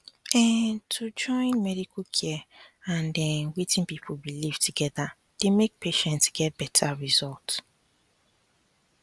um to join medical care and um wetin people believe together dey make patients get better results